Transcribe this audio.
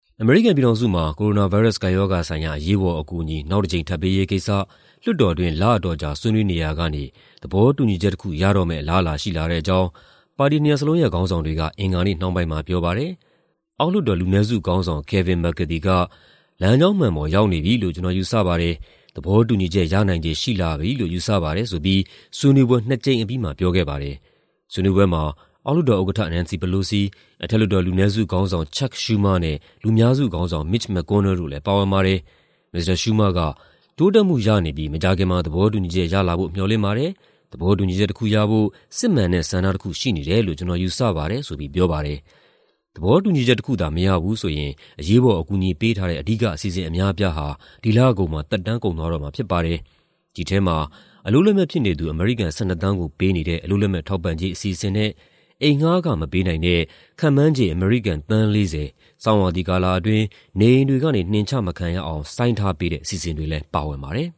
အမေရိကန်ပြည်ထောင်စုမှာ ကိုရိုနာဗိုင်းရပ်စ် ကပ်ရောဂါဆိုင်ရာ အရေးပေါ်အကူအညီ နောက်တကြိမ် ထပ်ပေးရေးကိစ္စ လွှတ်တော်တွင်း လအတော်ကြာ ဆွေးနွေးနေရာကနေ သဘောတူညီချက်တခု ရတော့မယ့် အလားအလာရှိလာတဲ့အကြောင်း ပါတီနှစ်ရပ်လုံးရဲ့ ခေါင်းဆောင်တွေက အင်္ဂါနေ့နှောင်းပိုင်းမှာပြောပါတယ်။ အောက်လွှတ်တော် လူနည်းစုခေါင်းဆောင် Kevin McCarthy က "လမ်းကြောင်းမှန်ပေါ် ရောက်နေပြီလို့ ကျနော်ယူဆပါတယ်၊ သဘောတူညီချက် ရနိုင်ခြေရှိလာပြီလို့ ယူဆပါတယ်။" ဆိုပြီး ဆွေးနွေးပွဲ နှစ်အကြိမ်အပြီးမှာ ပြောခဲ့ပါတယ်။ ဆွေးနွေးပွဲမှာ အောက်လွှတ်တော်ဥက္ကဋ္ဌ Nancy Pelosi ၊ အထက်လွှတ်တော် လူနည်းစုခေါင်းဆောင် Chuck Schumer နဲ့ လူများစုခေါင်းဆောင် Mitch McConnell တို့လည်း ပါဝင်ပါတယ်။ မစ္စတာ Schumer က "တိုးတက်မှုရနေပြီး မကြာခင်မှာ သဘောတူညီချက်ရလာဖို့ မေ ျှာ်လင့်ပါတယ်။ သဘောတူညီချက်တခုရဖို့ စစ်မှန်တဲ့ ဆန္ဒတခုရှိနေတယ်လို့ ကျနော်ယူဆပါတယ်။" ဆိုပြီး ပြောပါတယ်။ သဘောတူညီချက်တခုသာ မရဘူးဆိုရင် အရေးပေါ် အကူအညီပေးထားတဲ့ အဓိက အစီအစဉ် အများအပြားဟာ ဒီလကုန်မှာ သက်တမ်းကုန်သွားမှာဖြစ်ပါတယ်။ ဒီထဲမှာ အလုပ်လက်မဲ့ဖြစ်နေသူ အမေရိကန် ၁၂ သန်းကို ပေးနေတဲ့ အလုပ်လက်မဲ့ထောက်ပံ့ကြေး အစီအစဉ်နဲ့ အိမ်ငှားခမပေးနိုင်တဲ့ ခန့်မှန်းခြေ အမေရိကန် သန်း ၄၀ ဆောင်းရာသီကာလအတွင်း နေအိမ်တွေကနေ နှင်ချမခံရအောင် ဆိုင်းထားပေးတဲ့ အစီအစဉ်တွေလည်း ပါဝင်ပါတယ်